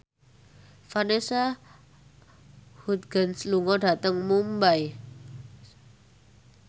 Vanessa Hudgens lunga dhateng Mumbai